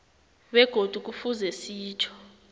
begodu kufuze sitjho